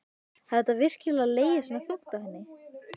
Hafði þetta virkilega legið svona þungt á henni?